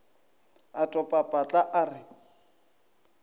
a topa patla a re